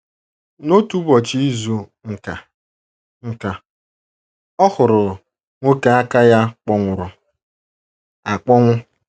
N’otu Ụbọchị Izu nka, nka, o huru nwoke aka ya kpọnwụrụ akpọnwụ.